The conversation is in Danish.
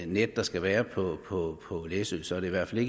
net der skal være på på læsø så er det i hvert fald